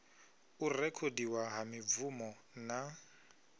u rekhodiwa ha mibvumo na